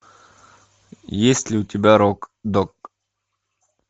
есть ли у тебя рок дог